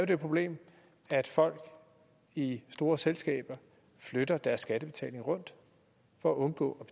det problem at folk i store selskaber flytter deres skattebetalinger rundt for at undgå